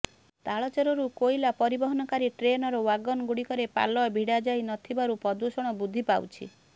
ତାଳଚେରରୁ କୋଇଲା ପରିବହନକାରୀ ଟ୍ରେନର ୱାଗନ ଗୁଡିକରେ ପାଲ ଭିଡ଼ା ଯାଉ ନଥିବାରୁ ପ୍ରଦୁଷଣ ବୃଦ୍ଧିପାଉଛି